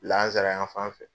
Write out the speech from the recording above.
Lazanra yan fan fɛ